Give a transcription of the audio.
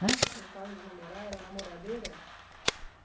Hã? Gostava de namorar? Era namoradeira?